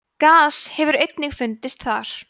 gas hefur einnig fundist þar